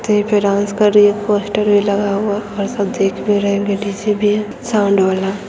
Stage पे dance कर रही है पोस्टर लगा हुआ और सब देख भी रहे है भी है साउन्ड वाला।